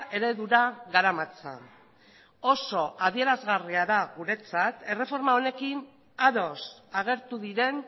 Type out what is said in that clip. eredura garamatza oso adierazgarria da guretzat erreforma honekin ados agertu diren